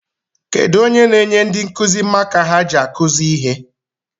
Kedu onye n'enye ndị nkụzi maka ha ji akuzi ha?